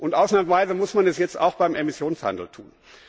Und ausnahmsweise muss man es jetzt auch beim Emissionshandel tun.